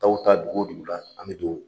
Dɔw bɛ ta dugu o dugu la an bɛ